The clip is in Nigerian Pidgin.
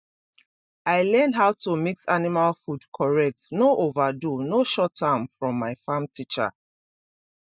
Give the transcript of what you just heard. i learn how to mix animal food correct no overdo no short am from my farm teacher